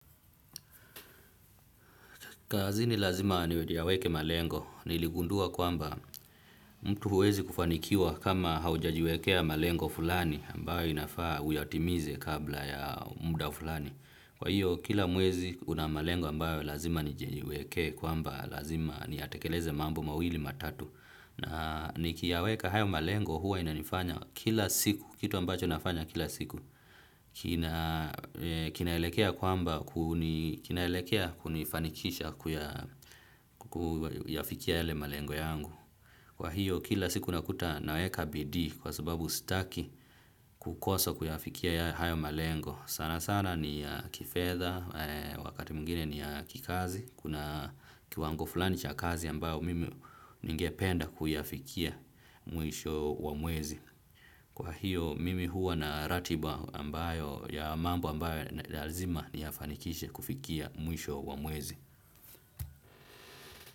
Kazini lazima ni wedi yaweke malengo. Niligundua kwamba mtu huwezi kufanikiwa kama haujajiwekea malengo fulani ambayo inafaa uyatimize kabla ya muda fulani. Kwa hiyo kila mwezi kuna malengo ambayo lazima nijiwekee kwamba lazima niyatekeleze mambo mawili matatu. Na nikiyaweka hayo malengo huwa inanifanya kila siku kitu ambacho nafanya kila siku kinaelekea kwamba kinaelekea kunifanikisha kuyafikia yale malengo yangu. Kwa hiyo kila siku nakuta naweka bidii kwa sababu sitaki kukosa kuyafikia hayo malengo. Sana sana ni ya kifedha wakati mwingini ni ya kikazi kuna kiwango fulani cha kazi ambayo mimi ninge penda kuyafikia mwisho wa mwezi. Kwa hiyo mimi huwa na ratiba ambayo ya mambo ambayo ya lazima niyafanikishe kufikia mwisho wa mwezi.